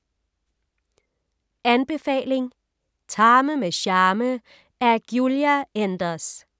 Anbefaling: Tarme med charme af Giulia Enders